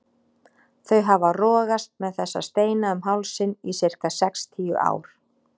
Þau hafa rogast með þessa steina um hálsinn í sirka sextíu ár.